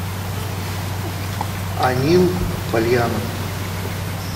анил польянов